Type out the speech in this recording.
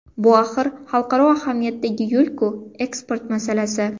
Bu axir xalqaro ahamiyatdagi yo‘l-ku, eksport masalasi.